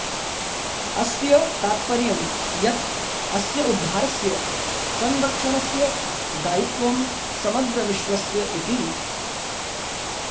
अस्य ताप्तर्यं यत् अस्य उद्धारस्य संरक्षणस्य दायित्वं समग्रविश्वस्य इति